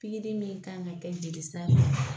Pikiri min kan ka kɛ jelisira fɛ